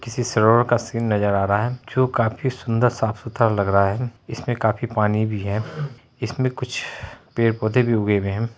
किसी सरोवर का सीन नजर आ रहा रहा है जो काफी सुंदर साफ सुथरा लग रहा है इसमे काफी पानी भी है इसमे कुछ पेड़-पौधे भी उगे हुए है।